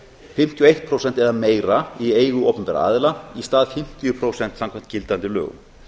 fimmtíu og eitt prósent eða meira í eigu opinberra aðila í stað fimmtíu prósent samkvæmt gildandi lögum